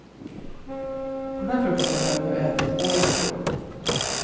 Den här frukosten har jag nu ätit år efter år.